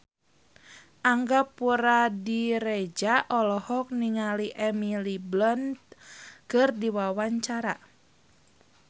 Angga Puradiredja olohok ningali Emily Blunt keur diwawancara